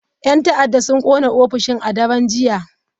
Yan ta'adda sun kona ofishin a daren jiya.